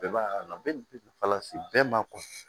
Bɛɛ b'a la bɛ fala se bɛɛ ma